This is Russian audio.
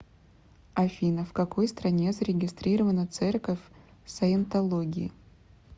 афина в какой стране зарегистрирована церковь саентологии